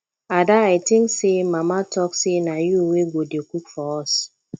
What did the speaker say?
ada i think say mama talk say na you wey go dey cook for us